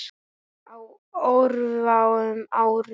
Á örfáum árum.